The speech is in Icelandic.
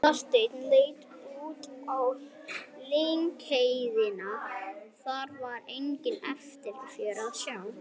Marteinn leit út á lyngheiðina, þar var enga eftirför að sjá.